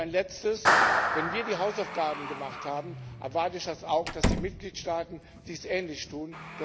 Ein Letztes Wenn wir die Hausaufgaben gemacht haben, erwarte ich auch, dass die Mitgliedstaaten dies ähnlich tun.